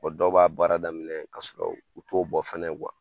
dɔw b'a baara daminɛ ka sɔrɔ u t'o bɔ fɛnɛ